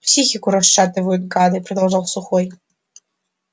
психику расшатывают гады продолжал сухой